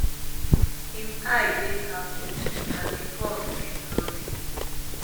im eye dey halfopen and im pulse bin no dey